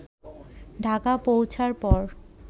ঢাকা পৌঁছার পর